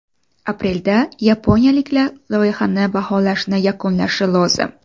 Aprelda yaponiyaliklar loyihani baholashni yakunlashi lozim.